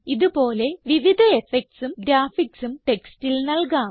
ഇത് പോലെ വിവിധ effectsഉം graphicsഉം ടെക്സ്റ്റിൽ നൽകാം